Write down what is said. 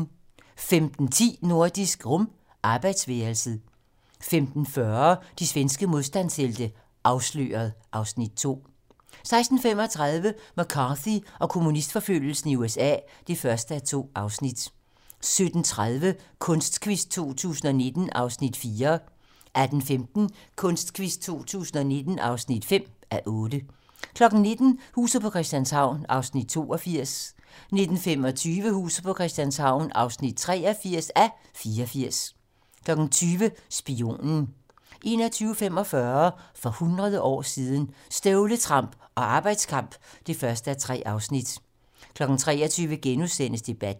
15:10: Nordisk Rum - arbejdsværelset 15:40: De svenske modstandshelte - Afsløret (Afs. 2) 16:35: McCarthy og kommunistforfølgelsen i USA (1:2) 17:30: Kunstquiz 2019 (4:8) 18:15: Kunstquiz 2019 (5:8) 19:00: Huset på Christianshavn (82:84) 19:25: Huset på Christianshavn (83:84) 20:00: Spionen 21:45: For hundrede år siden - Støvletramp og arbejdskamp (1:3) 23:00: Debatten *